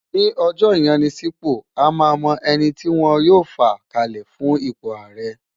Ní ọjọ́ ìyanisípò, a máa mọ ẹni tí wọn yóò fà kalẹ̀ fún ipò ààrẹ